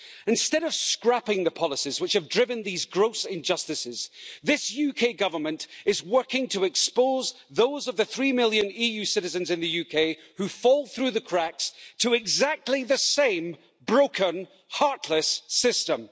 Instead of scrapping the policies which have driven these gross injustices, this UK Government is working to expose those of the three million EU citizens in the UK who fall through the cracks to exactly the same broken, heartless system.